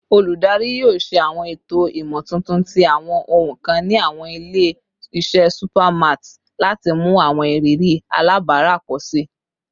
Oludari yoo ṣe awọn eto imotuntun ti awọn ohun kan ni awọn ile-iṣẹ supermarts lati mu awọn iriri alabara pọ si